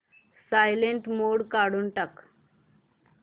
silent mode काढून टाक